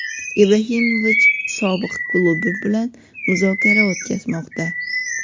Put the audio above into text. Ibrahimovich sobiq klubi bilan muzokara o‘tkazmoqda.